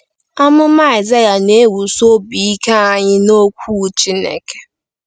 Amụma Aịzaya Na-ewusi Obi Ike Anyị n’Okwu Chineke